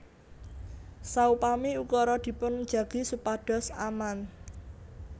Saupami ukara dipun jagi supados aman